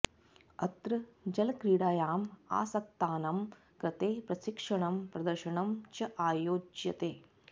अत्र जलक्रीडायाम् आसक्तानां कृते प्रशिक्षणं प्रदर्शनं च आयोज्यते